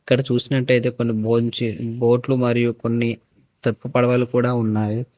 ఇక్కడ చుసినట్టాయితే కొన్ని బొంజ్ బోట్లు మరియు తెప్ప పడవలు కూడ ఉన్నాయి.